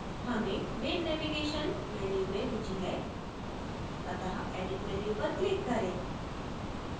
main main navigation menu में रूचि है अतः edit menu पर click करें